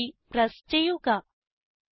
enter key press ചെയ്യുക